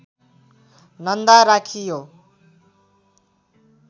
नन्दा राखियो